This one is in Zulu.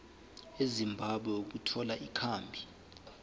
ezimbabwe ukuthola ikhambi